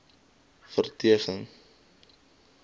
verdedig